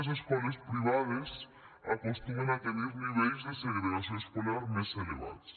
més escoles privades acostumen a tenir nivells de segregació escolar més elevats